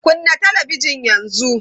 Kunna talabijin yanzu!